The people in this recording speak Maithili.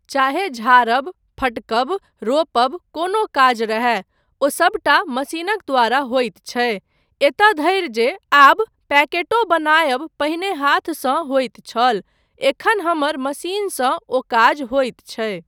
चाहे झारब, फटकब, रोपब कोनो काज रहय, ओ सबटा मशीनक द्वारा होइत छै, एतय धरि जे आब पैकेटो बनायब पहीने हाथसँ होइत छल, एखन हमर मशीनसँ ओ काज होइत छै।